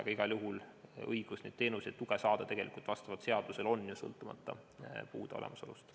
Aga igal juhul õigus neid teenuseid ja tuge saada on vastavalt seadusele olemas, sõltumata puude olemasolust.